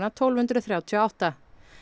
tólf hundruð þrjátíu og átta